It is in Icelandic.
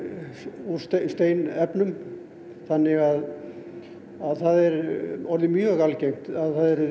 úr steinefnum þannig að það er orðið mjög algengt að